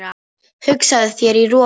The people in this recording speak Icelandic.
Hugsaðu þér- í roki!